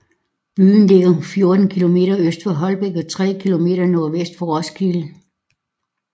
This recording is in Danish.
Byen ligger 14 kilometer øst for Holbæk og 23 kilometer nordvest for Roskilde